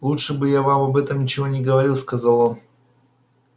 лучше бы я вам об этом ничего не говорил сказал он